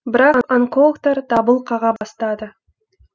бірақ онкологтар дабыл қаға бастады